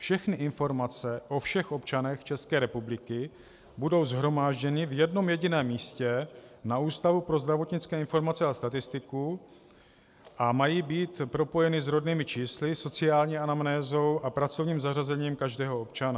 Všechny informace o všech občanech České republiky budou shromážděny v jednom jediném místě v Ústavu pro zdravotnické informace a statistiku a mají být propojeny s rodnými čísly, sociální anamnézou a pracovním zařazením každého občana.